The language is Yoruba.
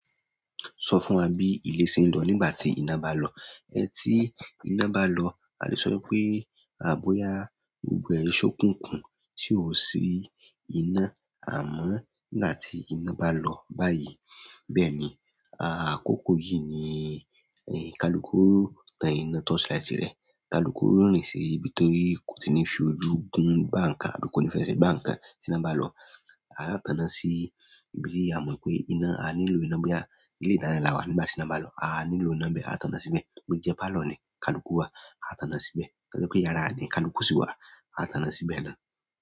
Sọ fún wa bí ilé ṣe ń lọ nígbà tí iná bá lọ. Ẹ tí iná bá lọ a lè sọ wipé, a àboya gbogbo ẹ n ṣokúkùn tí ó sí iná. Àmọ́ nígbà tí iná bá lọ báyìí, bẹ́ẹ̀ ni a kókó yìí ni ni kalukú tan iná torchlight rẹ̀. Kalukú rìn sìn ibí tí kò tíì ní fi ojú gún gbá nǹkan àbí kò ní fẹ́ ṣe gbá nǹkan tí iná bá lọ. Aa tán sì ibi tí a mọ̀ pé iná a ní ìlò iná bóyá ni ìta là wà nígbà tí iná bá lọ aa tana síbẹ̀ bó jẹ́ pálọ̀ ni kalukú wà a tàná síbẹ̀. Bó jẹ́ pé yàrá ni kalukú sì wà a tàná síbẹ̀ náà.